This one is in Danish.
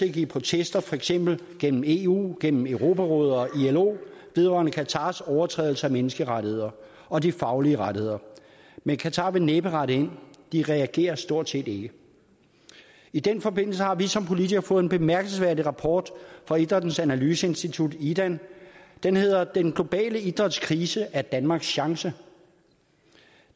indgive protester for eksempel gennem eu gennem europarådet og ilo vedrørende qatars overtrædelser af menneskerettigheder og de faglige rettigheder men qatar vil næppe rette ind de reagerer stort set ikke i den forbindelse har vi som politikere fået en bemærkelsesværdig rapport fra idrættens analyseinstitut idan den hedder den globale idrætskrise er danmarks store chance